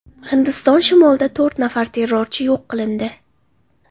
Hindiston shimolida to‘rt nafar terrorchi yo‘q qilindi.